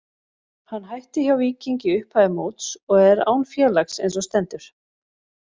Hann hætti hjá Víking í upphafi móts og er án félags eins og stendur.